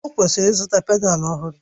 Ọ kwesịrị ịzụta pedalu ọhụrụ